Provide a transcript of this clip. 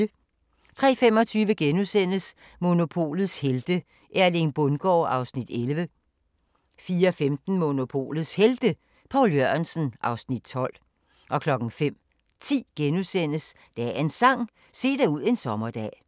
03:25: Monopolets helte - Erling Bundgaard (Afs. 11)* 04:15: Monopolets Helte – Poul Jørgensen (Afs. 12) 05:10: Dagens Sang: Se dig ud en sommerdag *